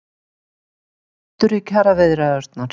Kraftur í kjaraviðræðurnar